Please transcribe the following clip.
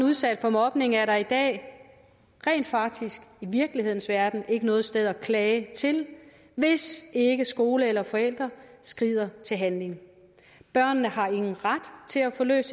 udsat for mobning er der i dag rent faktisk i virkelighedens verden ikke noget sted at klage til hvis ikke skole eller forældre skrider til handling børnene har ingen ret til at få løst